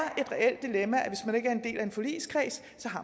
en del af en forligskreds